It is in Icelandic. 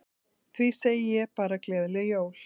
Því segi ég bara gleðileg jól.